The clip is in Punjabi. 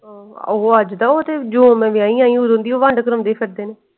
ਓਹੋ ਅੱਜ ਦਾ ਉਹ ਤੇ ਜਯੋਂ ਮੈਂ ਵਿਆਹੀ ਆਈ ਆ ਓਦੋਂ ਦੀ ਵੰਡ ਕਰਾਉਂਦੇ ਫੇਰਦੇ ਨੇ।